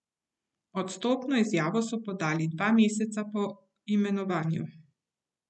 Odstopno izjavo so podali dva meseca po imenovanju.